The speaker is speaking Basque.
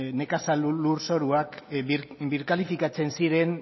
nekazal lurzoruak birkalifikatzen ziren